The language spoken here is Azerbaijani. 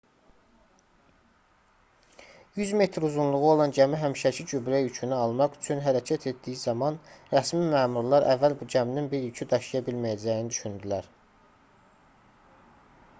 100 metr uzunluğu olan gəmi həmişəki gübrə yükünü almaq üçün hərəkət etdiyi zaman rəsmi məmurlar əvvəl bu gəminin bir yükü daşıya bilməyəcəyini düşündülər